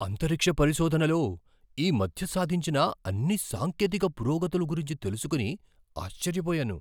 అంతరిక్ష పరిశోధనలో ఈ మధ్య సాధించిన అన్ని సాంకేతిక పురోగతుల గురించి తెలుసుకుని ఆశ్చర్యపోయాను.